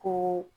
Ko